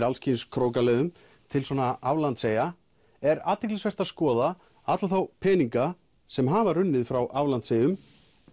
alls kyns krókaleiðum til aflandseyja er athyglisvert að skoða alla þá peninga sem hafa runnið frá aflandseyjum